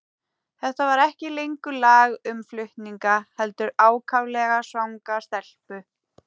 Þetta var ekki lengur lag um flutninga, heldur ákaflega svanga stelpu.